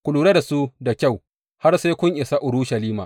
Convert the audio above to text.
Ku lura da su da kyau har sai kun isa Urushalima.